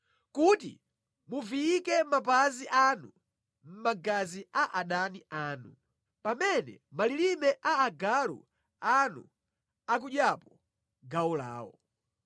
Kuti muviyike mapazi anu mʼmagazi a adani anu, pamene malilime a agalu anu akudyapo gawo lawo.”